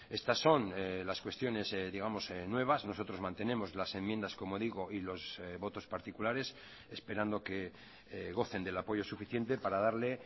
estas son las cuestiones digamos nuevas nosotros mantenemos las enmiendas como digo y los votos particulares esperando que gocen del apoyo suficiente para darle